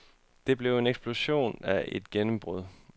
Det blev en eksplosion af et gennembrud.